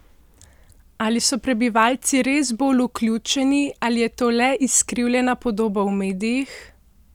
Ali so prebivalci res bolj vključeni ali je to le izkrivljena podoba v medijih?